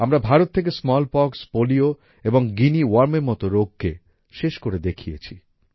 আমরা ভারত থেকে smallpox polio ও গুইনিয়া Wormএর মত রোগকে শেষ করে দেখিয়েছি